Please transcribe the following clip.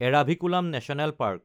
Eravikulam national park